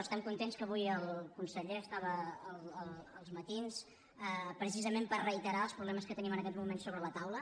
estem contents que avui el conseller estava a els matins precisament per reiterar els problemes que tenim en aquest moment sobre la taula